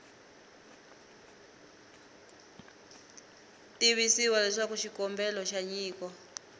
tivisiwa leswaku xikombelo xa nyiko